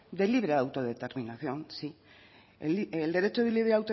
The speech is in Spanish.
de libre autodeterminación sí el derecho de libre